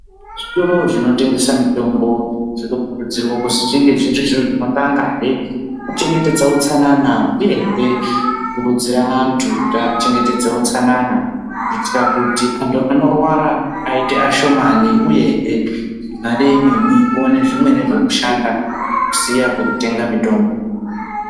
Zvitoro zvinotengesa mitombo zvinokurudzirwa kuti zvinge zvirizvo zvinotangazve kuchengetedza utsanana uyehe kukurudzira hantu kuti achengetedze utsanana kuitira kuti anthu anorwara aite ashomani uyahe mare yemweni ione zvimweni zvekushanda kusiya kwekutenga mutombo.